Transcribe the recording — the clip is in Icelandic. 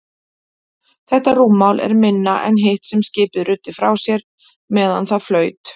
Þetta rúmmál er minna en hitt sem skipið ruddi frá sér meðan það flaut.